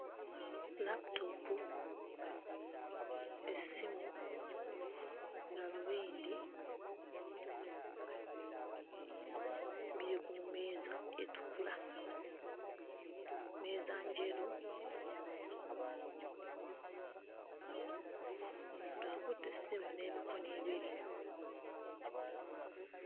Laputoopu, essimu, gaalubindi biri ku mmeeza etukula. Mmeeza njeru, omuntu akutte essimu n'emikono ebiri.